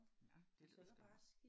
Nåh det lyder ellers godt